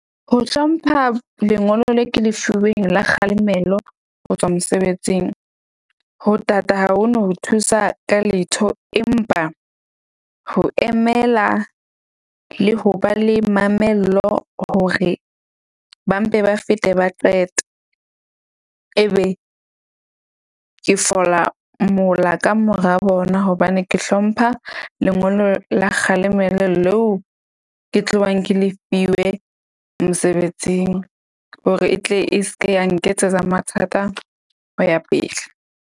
Ho hlompha lengolo le ke le fuweng la kgalemelo ho tswa mosebetsing, ho tata ha ho no ho thusa ka letho empa ho emela le ho ba le mamello hore ba mpe ba fete ba qete. Ebe ke fola mola ka mora bona hobane ke hlompha lengolo la kgalemelo leo, ke tlohang ke le fiwe mosebetsing hore e tle e ske ya nketsetsa mathata ho ya pele.